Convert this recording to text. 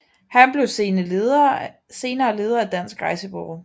Han blev senere leder af Dansk Rejsebureau